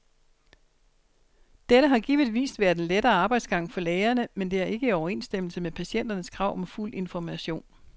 Dette har givetvis været en lettere arbejdsgang for lægerne, men det er ikke i overensstemmelse med patienternes krav om fuld information.